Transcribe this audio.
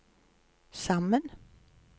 sammen